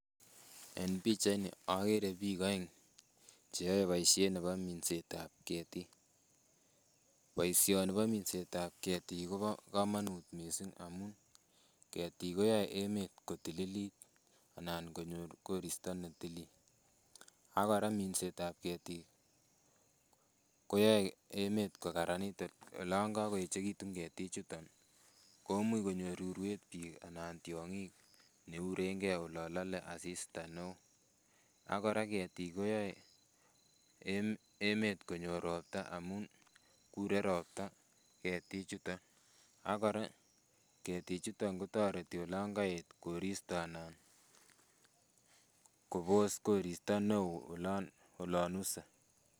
En pichait ni, agere biik aeng' che yae boisiet nebo minsetab ketik. Boisioni bo minsetab ketik kobo komonut mising amu ketik koyae emet kotililit anan konyor koristo ne tilil. Agora minsetab ketik, koyae emet kokararanit olon kakoechekitu ketik chutok, koimuch konyor urwet biik anan tiongik neurenge olon lale asista neo. Agora ketik koyae emet konyor ropta amun kure ropta ketik chuton. Agora, ketik chuton kotoreti olon kaet koristo anan kobos koristo neo, olon olon use.